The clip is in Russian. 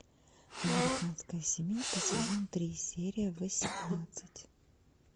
американская семейка сезон три серия восемнадцать